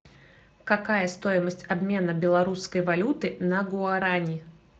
какая стоимость обмена белорусской валюты на гуарани